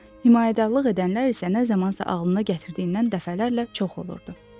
ona himayədarlıq edənlər isə nə zamansa ağlına gətirdiyindən dəfələrlə çox olurdu.